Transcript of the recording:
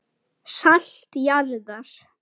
Salt jarðar.